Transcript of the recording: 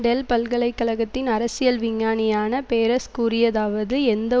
del பல்கலை கழகத்தின் அரசியல் விஞ்ஞானியான பேரஸ் கூறியதாவது எந்த